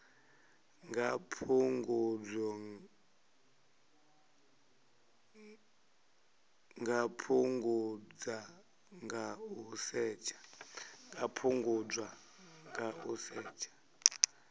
nga fhungudzwa nga u setsha